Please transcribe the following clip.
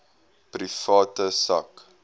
private sak